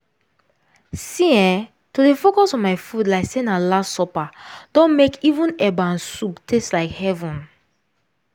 see eh to dey focus on my food like say na last supper don mek even eba and soup taste like heaven.